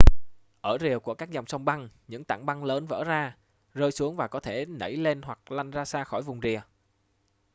ở rìa của các dòng sông băng những tảng băng lớn vỡ ra rơi xuống và có thể nẩy lên hoặc lăn xa ra khỏi vùng rìa